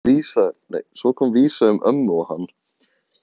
Svo kom vísa um ömmu og hann: